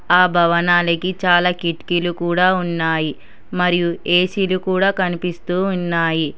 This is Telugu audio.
ఆ భవనానికి చాలా కిటికీలు కూడా ఉన్నాయి మరియు ఏసీలు కూడా కనిపిస్తూ ఉన్నాయి.